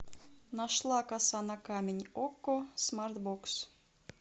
нашла коса на камень окко смарт бокс